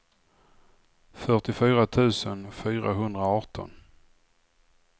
fyrtiofyra tusen fyrahundraarton